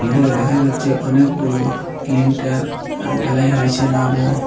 এখান থেকে দেখা যাচ্ছে অনেকগুলো ক্লিনটার এ ঢালাই হয়েসে নাভো।